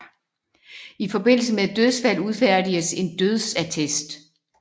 I forbindelse med et dødsfald udfærdiges en dødsattest